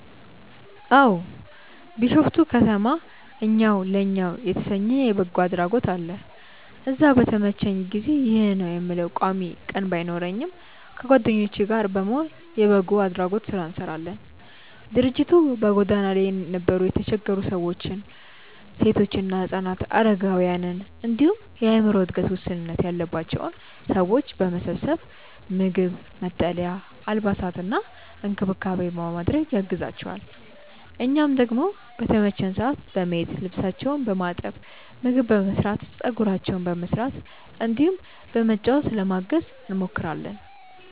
አዎ። ቢሾፍቱ ከተማ እኛው ለእኛው የተሰኘ የበጎ አድራጎት አለ። እዛ በተመቸኝ ጊዜ (ይህ ነው የምለው ቋሚ ቀን ባይኖረኝም) ከጓደኞቼ ጋር በመሆን የበጎ አድራጎት ስራ እንሰራለን። ድርጅቱ በጎዳና ላይ የነበሩ የተቸገሩ ሰዎችን፣ ሴቶችና ህፃናትን፣ አረጋውያንን እንዲሁም የአዕምሮ እድገት ውስንነት ያለባቸውን ሰዎች በመሰብሰብ ምግብ፣ መጠለያ፣ አልባሳትና እንክብካቤ በማድረግ ያግዛቸዋል። እኛም ደግሞ በተመቸን ሰዓት በመሄድ ልብሳቸውን በማጠብ፣ ምግብ በመስራት፣ ፀጉራቸውን በመስራት እንዲሁም በማጫወት ለማገዝ እንሞክራለን።